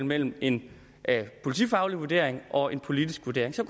mellem en politifaglig vurdering og en politisk vurdering så